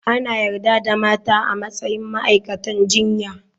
Ana yarda da mata a matsayin ma'aikatan jinya.